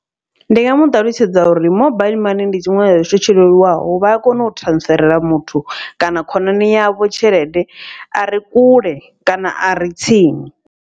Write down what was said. Ndi nga muṱalutshedza uri mobile mani ndi tshiṅwe tsha tshithu tsho leluwaho vha ya kona u transferela muthu kana khonani yavho tshelede are kule kana are tsini.